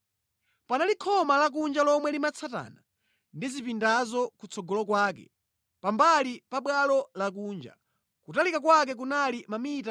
Panali khoma lakunja lomwe limatsatana ndi zipindazo kutsogolo kwake pambali pabwalo lakunja, kutalika kwake kunali mamita 25.